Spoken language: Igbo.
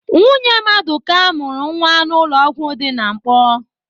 Nwunye Madụka mụrụ nwa n'ụlọ ọgwụ dị na Nkpọọ.